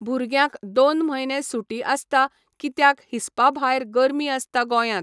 भुरग्यांक दोन म्हयने सुटी आसता कित्याक हिस्पा भायर गर्मी आसता गोंयांत.